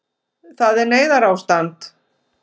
Það er neyðarástand